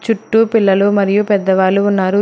చుట్టూ పిల్లలు మరియు పెద్దవాళ్ళు ఉన్నారు.